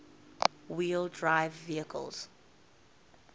wheel drive vehicles